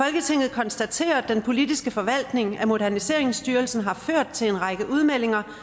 konstaterer at den politiske forvaltning af moderniseringsstyrelsen har ført til en række udmeldinger